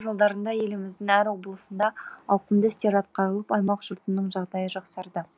тәуелсіздік жылдарында еліміздің әр облысында ауқымды істер атқарылып аймақ жұртының жағдайы жақсарды